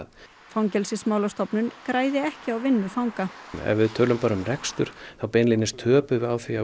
Fangelsismálastofnun græði ekki á vinnu fanga ef við tölum bara um rekstur þá beinlínis töpum við á því að